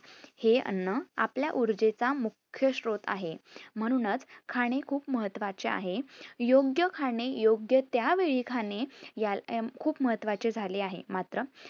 आपल्या उर्जे चा मुख्य श्रोत आहे. म्हणूनच खाणे खूप महत्वाचे आहे. योग्य खाणे, योग्य त्या वेळी खाणे खूप महत्वाचे झाले आहे. मात्र